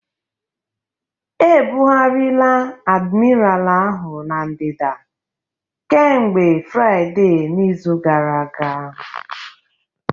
Ebugharịla Admiral ahụ na ndịda kemgbe Fraịde n'izu gara aga